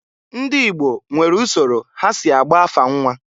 Ndị Igbo nwere usoro ha si agba afa nnwa.